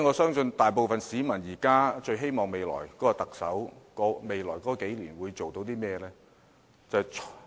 現時，大部分市民最希望新任特首在未來數年做些甚麼呢？